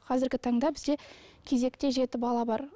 қазіргі таңда бізде кезекте жеті бала бар